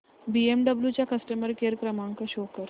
BMW चा customer care क्रमांक show कर